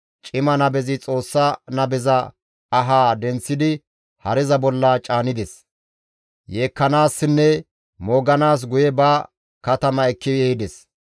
Cima nabezi Xoossa nabeza ahaa denththidi hareza bolla caanides; yeekkanaassinne mooganaas guye ba katama ekki ehides.